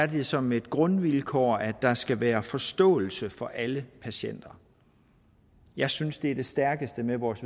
det som et grundvilkår at der skal være forståelse for alle patienter jeg synes det stærkeste ved vores